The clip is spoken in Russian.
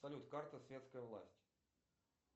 салют карта светская власть